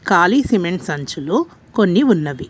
కాళీ cement సంచులు కొన్ని ఉన్నవి.